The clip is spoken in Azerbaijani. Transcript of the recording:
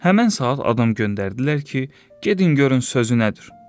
Həmən saat adam göndərdilər ki, gedin görün sözü nədir.